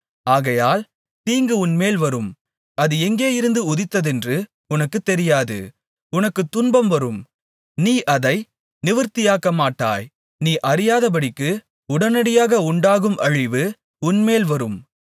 ஆகையால் தீங்கு உன்மேல் வரும் அது எங்கேயிருந்து உதித்ததென்று உனக்குத் தெரியாது உனக்குத் துன்பம் வரும் நீ அதை நிவிர்த்தியாக்கமாட்டாய் நீ அறியாதபடிக்கு உடனடியாக உண்டாகும் அழிவு உன்மேல் வரும்